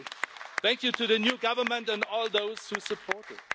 Thank you to the new government and all those who support it.